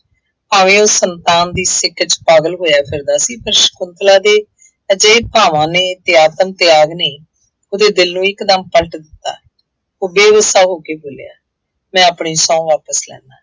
ਭਾਵੇਂ ਉਹ ਸੰਤਾਨ ਦੀ ਸਿੱਕ ਚ ਪਾਗਲ ਹੋਇਆ ਫਿਰਦਾ ਸੀ। ਪਰ ਸ਼ੰਕੁਤਲਾ ਦੇ ਅਜਿਹੇ ਭਾਵਾਂ ਨੇ ਤਿਆਸਨ ਤਿਆਗ ਨੇ ਉਹਦੇ ਦਿਲ ਨੂੰ ਇੱਕ ਦਮ ਪਲਟ ਦਿੱਤਾ। ਉਹ ਬੇਹੋਸ਼ਾ ਹੋ ਕੇ ਬੋਲਿਆ ਮੈਂ ਆਪਣੀ ਸਹੁੰ ਵਾਪਸ ਲੈਂਦਾ।